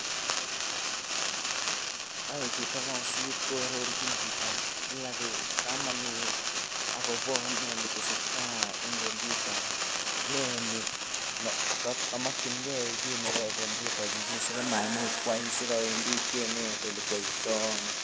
ae chito kasit koarorchin chitab kamanut akomwae kit netesetai eng compyuta kamakyinke ki nebo compyuta nemaimuch koyai, nekawendi kinet olekyaita.